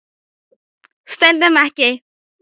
Stundum ekki.